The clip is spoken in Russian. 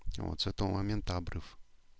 и вот с этого момента обрыв